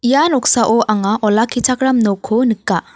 ia noksao anga olakkichakram nokko nika.